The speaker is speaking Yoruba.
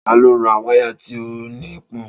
Ta ló ra wáyà tí ó ní pọn?